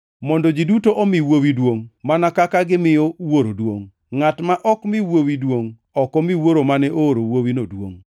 mondo ji duto omi Wuowi duongʼ mana kaka gimiyo Wuoro duongʼ. Ngʼat ma ok mi Wuowi duongʼ ok mi Wuoro mane ooro Wuowino duongʼ.